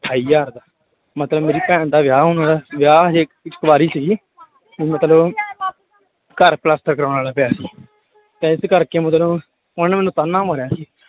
ਅਠਾਈ ਹਜ਼ਾਰ ਦਾ, ਮਤਲਬ ਮੇਰੀ ਭੈਣ ਦਾ ਵਿਆਹ ਹੋਣ ਵਾਲਾ, ਵਿਆਹ ਹਜੇ ਕੁਆਰੀ ਸੀ ਮਤਲਬ ਘਰ ਪਲਸਤਰ ਕਰਵਾਉਣ ਵਾਲਾ ਪਿਆ ਤੇ ਇਸ ਕਰਕੇ ਮਤਲਬ ਉਹਨੇ ਮੈਨੂੰ ਤਾਨਾ ਮਾਰਿਆ ਸੀ l